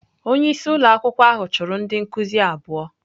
Onye isi ụlọ akwụkwọ ahụ chụrụ ndị nkuzi abụọ.